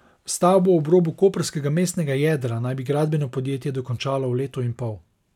Stavbo ob robu koprskega mestnega jedra naj bi gradbeno podjetje dokončalo v letu in pol.